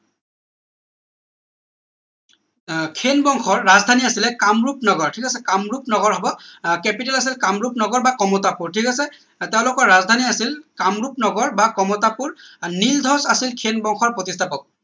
আহ খেন বংশৰ ৰাজধানী আছিল কামৰূপ নগৰ ঠিক আছে কামৰূপ নগৰ হব capital আছিল কামৰূপ নগৰ বা কমতাপুৰ ঠিক আছে তেওঁলোকৰ ৰাজধানী আছিল কামৰূপ নগৰ বা কমতাপুৰ নীলধ্বজ আছিল খেন বংশৰ প্ৰতিষ্ঠাপক